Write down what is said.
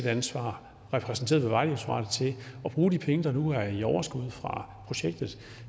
ansvar repræsenteret ved vejdirektoratet at bruge de penge der nu er i overskud fra projektet